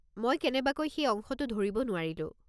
মই কেনেবাকৈ সেই অংশটো ধৰিব নোৱাৰিলো।